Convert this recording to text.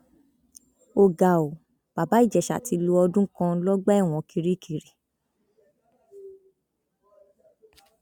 ó ga ọ bàbá ìjẹsà ti lo ọdún kan lọgbà ẹwọn kirikiri